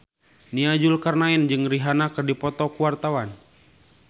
Nia Zulkarnaen jeung Rihanna keur dipoto ku wartawan